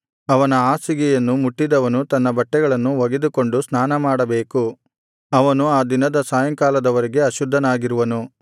ಅವನ ಹಾಸಿಗೆಯನ್ನು ಮುಟ್ಟಿದವನು ತನ್ನ ಬಟ್ಟೆಗಳನ್ನು ಒಗೆದುಕೊಂಡು ಸ್ನಾನಮಾಡಬೇಕು ಅವನು ಆ ದಿನದ ಸಾಯಂಕಾಲದವರೆಗೆ ಅಶುದ್ಧನಾಗಿರುವನು